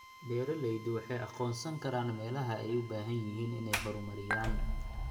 Beeraleydu waxay aqoonsan karaan meelaha ay u baahan yihiin inay horumariyaan.